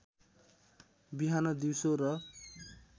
बिहान दिउँसो र